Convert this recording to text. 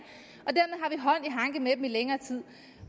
hanke med dem i længere tid